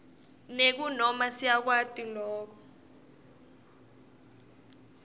nekunoma siyakwati loku